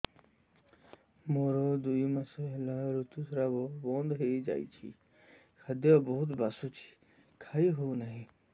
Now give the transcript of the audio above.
ମୋର ଦୁଇ ମାସ ହେଲା ଋତୁ ସ୍ରାବ ବନ୍ଦ ହେଇଯାଇଛି ଖାଦ୍ୟ ବହୁତ ବାସୁଛି ଖାଇ ହଉ ନାହିଁ